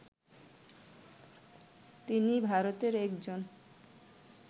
তিনি ভারতের একজন